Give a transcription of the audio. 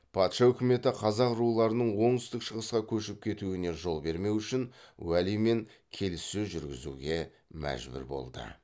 патша өкіметі қазақ руларының оңтүстік шығысқа көшіп кетуіне жол бермеу үшін уәлимен келіссөз жүргізуге мәжбүр болды